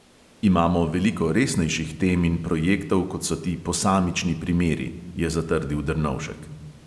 Imamo veliko resnejših tem in projektov, kot so ti posamični primeri, je zatrdil drnovšek.